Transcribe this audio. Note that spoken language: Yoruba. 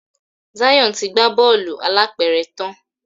Zion tí gbà Bọ́ọ̀lù alápẹ̀rẹ̀ tán.